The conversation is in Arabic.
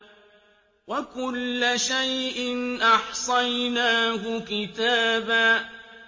وَكُلَّ شَيْءٍ أَحْصَيْنَاهُ كِتَابًا